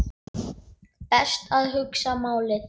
Best að hugsa málið.